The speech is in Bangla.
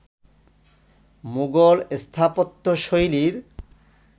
মুঘল স্থাপত্যশৈলীর